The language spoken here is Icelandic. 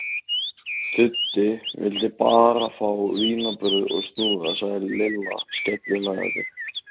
Tuddi vildi bara fá vínarbrauð og snúða sagði Lilla skellihlæjandi.